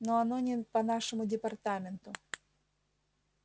но оно не по нашему департаменту